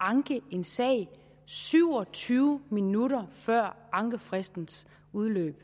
anke en sag syv og tyve minutter før ankefristens udløb